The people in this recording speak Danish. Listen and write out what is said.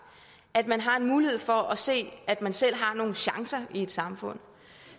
at man har en mulighed for at se at man selv har nogle chancer i et samfund